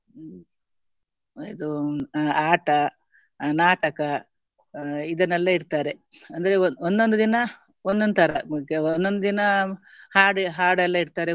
ಇದು ಅ~ ಆಟ ಅಹ್ ನಾಟಕ ಅಹ್ ಇದನ್ನೆಲ್ಲಾ ಇಟ್ತಾರೆ ಅಂದ್ರೆ ಒಂದ್~ ಒಂದೊಂದು ದಿನ ಒಂದೊಂದು ತರ ಒಂದೊಂದು ದಿನ ಹಾಡು ಹಾಡೆಲ್ಲ ಇಟ್ತಾರೆ.